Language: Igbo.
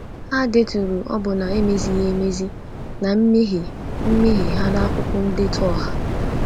Ha deturu ọbụna emezighị emezi na mmehie mmehie ha n’akwụkwọ ndetu ọha.